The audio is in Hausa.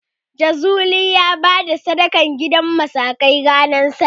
Jazuli ya bayar da sadaka gidan musakai ranar Sallah.